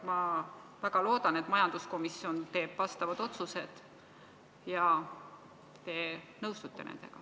Ma väga loodan, et majanduskomisjon teeb vastavad otsused ja te nõustute nendega.